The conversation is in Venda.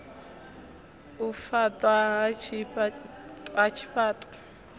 u faṱwa ha tshifha ṱo